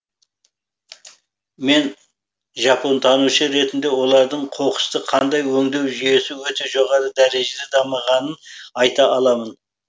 мен жапонтанушы ретінде олардың қоқысты қандай өңдеу жүйесі өте жоғары дәрежеде дамығанын айта аламын